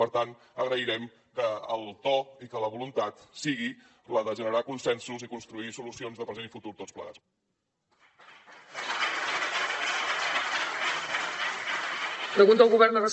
per tant agrairem que el to i que la voluntat sigui la de generar consensos i construir solucions de present i futur tots plegats